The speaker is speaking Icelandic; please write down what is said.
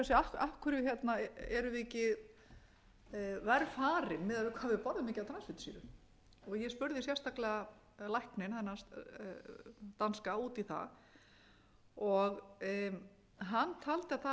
hvað við borða mikið af transfitusýrum ég spurði sérstaklega lækni þennan danska út í það hann taldi að það væri vegna þess